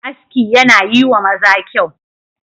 Aski yana yi wa maza kyau.